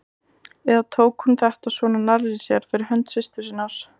Eða tók hún þetta svona nærri sér fyrir hönd systur sinnar?